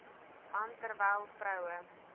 man terwyl vroue